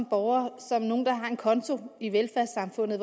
borgere som nogle der har en konto i velfærdssamfundet